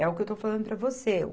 É o que eu estou falando para você.